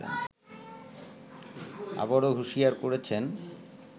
আবারো হুশিয়ার করেছেন